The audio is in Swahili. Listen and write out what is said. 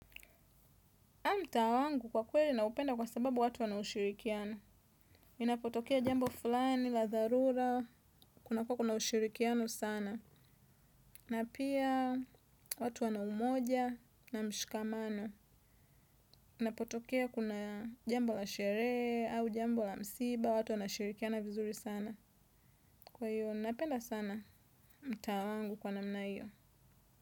Mtaa wangu kwa kweli naupenda kwa sababu watu wana ushirikiano inapotokea jambo fulani la dharura, kuna kuwa kuna ushirikiano sana. Na pia watu wana umoja na mshikamano. Inapotokea kuna jambo la sherehe, au jambo la msiba, watu wanashirikiana vizuri sana. Kwa hiyo, napenda sana mtaa wangu kwa namna hiyo.